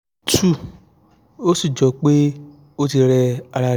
2 ó sì jọ pé ó ti rẹ́ ara rẹ̀ gan-an